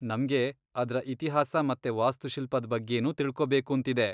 ನಮ್ಗೆ ಅದ್ರ ಇತಿಹಾಸ ಮತ್ತೆ ವಾಸ್ತುಶಿಲ್ಪದ್ ಬಗ್ಗೆನೂ ತಿಳ್ಕೊಬೇಕೂಂತಿದೆ.